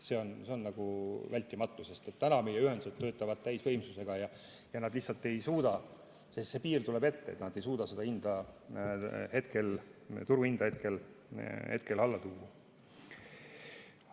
See on vältimatu, sest meie ühendused töötavad täisvõimsusega ja nad lihtsalt ei suuda, sest piir tuleb ette, turuhinda hetkel alla tuua.